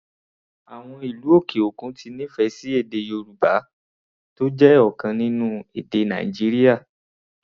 Àwọn ìlú òkè òkun ti nífẹ̀ẹ́ sí èdè Yorùbá, tó jẹ́ ọ̀kan nínú èdè Nàìjíríà.